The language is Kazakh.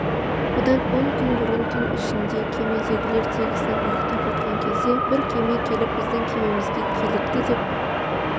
бұдан он күн бұрын түн ішінде кемедегілер тегісінен ұйықтап жатқан кезде бір кеме келіп біздің кемемізге килікті деп